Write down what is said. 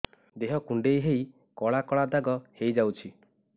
ଦେହ କୁଣ୍ଡେଇ ହେଇ କଳା କଳା ଦାଗ ହେଇଯାଉଛି